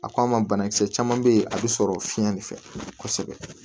A k'a ma banakisɛ caman bɛ yen a bɛ sɔrɔ fiɲɛ de fɛ kosɛbɛ